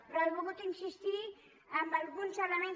però he volgut insistir en alguns elements